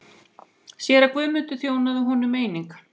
Séra Guðmundur þjónaði honum einnig.